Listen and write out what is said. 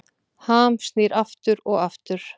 Ham snýr aftur og aftur